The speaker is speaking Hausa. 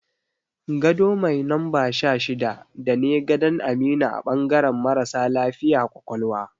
Gado mai numba 16 dane gadan Aminu a bangaran marasa lafiya ƙwaƙwalwa